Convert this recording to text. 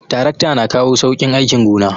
Tarakta na kawo sauƙin aikin gona